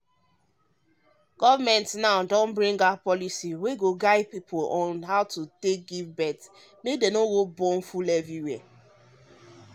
policy wey dey guide how people dey born dey help um distribute things um wey fit stop belleas future plans you understand